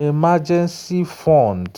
emergency fund